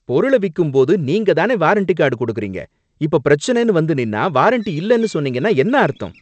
பொருள விக்கும் போது நீங்க தானே வாரண்டி கார்டு குடுக்குறீங்க! இப்ப பிரச்சனைன்னு வந்து நின்னா வாரன்டி இல்லன்னு சொன்னீங்கன்னா என்ன அர்த்தம்!